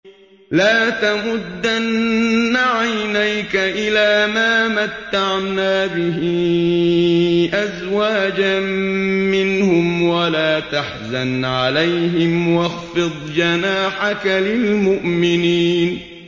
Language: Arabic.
لَا تَمُدَّنَّ عَيْنَيْكَ إِلَىٰ مَا مَتَّعْنَا بِهِ أَزْوَاجًا مِّنْهُمْ وَلَا تَحْزَنْ عَلَيْهِمْ وَاخْفِضْ جَنَاحَكَ لِلْمُؤْمِنِينَ